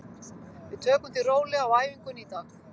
Við tökum því rólega á æfingunni í dag.